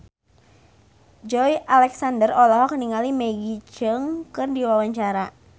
Joey Alexander olohok ningali Maggie Cheung keur diwawancara